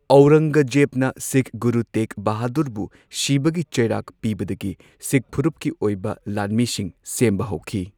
ꯑꯧꯔꯪꯒꯖꯦꯕꯅ ꯁꯤꯈ ꯒꯨꯔꯨ ꯇꯦꯒ ꯕꯍꯥꯗꯨꯔꯕꯨ ꯁꯤꯕꯒꯤ ꯆꯩꯔꯥꯛ ꯄꯤꯕꯗꯒꯤ ꯁꯤꯈ ꯐꯨꯔꯨꯞꯀꯤ ꯑꯣꯏꯕ ꯂꯥꯟꯃꯤꯁꯤꯡ ꯁꯦꯝꯕ ꯍꯧꯈꯤ꯫